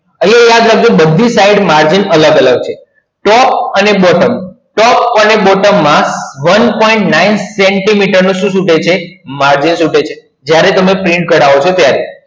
આવે યાદ રાખ જો બધી side margin અલગ અલગ છે top અને bottom top અને bottom માં one point nine સેન્ટીમીટર નું margin ખૂટે છે જ્યારે તમે print કાઢવો છો ત્યારે